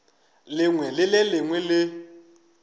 lengwe le le lengwe le